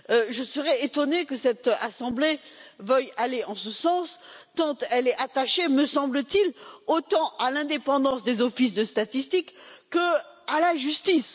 Je serais étonnée que cette assemblée veuille aller en ce sens, tant elle est attachée, me semble t il, aussi bien à l'indépendance des offices de statistiques qu'à la justice.